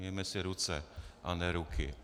Myjeme si ruce, a ne ruky.